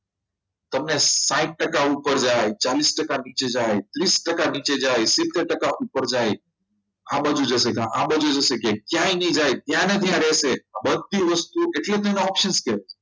તમને સાહિથ ટકા ઉપર જાય ચાલીસ ટકા નીચે જાય ત્રીસ ટકા નીચે જાય સિત્તેર ટકા ઉપર જાય આ બધું જશે ક્યાંય નહીં જાય તેના ત્યાં રહેશે બધી વસ્તુ એટલે તેનો option કહેવાય